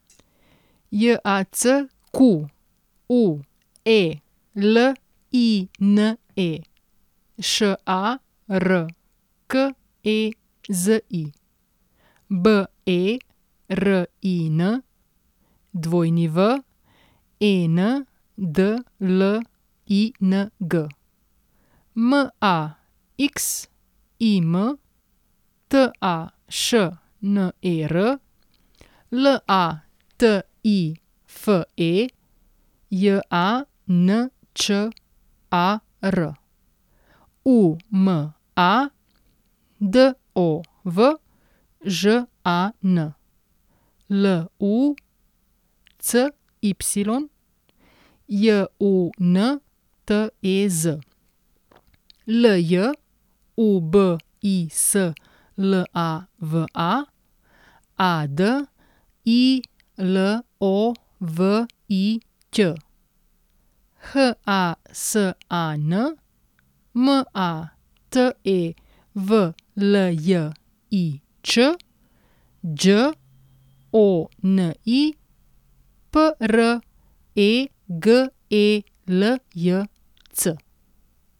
Jacqueline Šarkezi, Berin Wendling, Maxim Tašner, Latife Jančar, Uma Dovžan, Lucy Juntez, Ljubislava Adilović, Hasan Matevljič, Đoni Pregeljc.